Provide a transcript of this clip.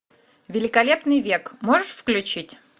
великолепный век можешь включить